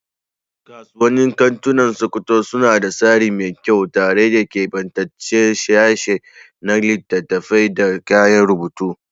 Kasuwannin kantunan Sokoto suna da tsari mai kyau, tare da kebantaccen sashe na littattafai da kayan rubutu.